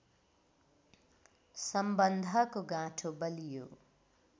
सम्बन्धको गाँठो बलियो